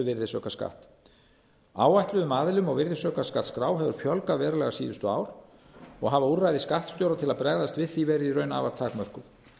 virðisaukaskatts áætluðum aðilum á virðisaukaskattsskrá hefur fjölgað verulega síðustu ár og hafa úrræði skattstjóra til að bregðast við því verið í raun afar takmörkuð